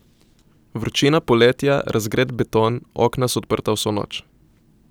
Vročina poletja, razgret beton, okna so odprta vso noč.